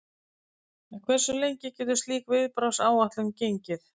En hversu lengi getur slík viðbragðsáætlun gengið?